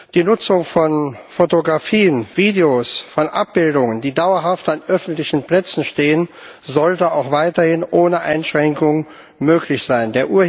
Die Nutzung von Fotografien, Videos, von Abbildungen, die dauerhaft an öffentlichen Plätzen stehen, sollte auch weiterhin ohne Einschränkungen möglich sein.